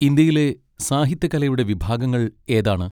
ഇന്ത്യയിലെ സാഹിത്യകലയുടെ വിഭാഗങ്ങൾ ഏതാണ്?